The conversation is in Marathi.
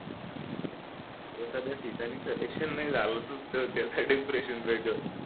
एखाद्या ठिकाणी कनेक्शन नाही झालं तर त्याच डिप्रेशन वेगळ